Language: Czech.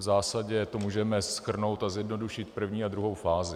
V zásadě to můžeme shrnout a zjednodušit, první a druhou fázi.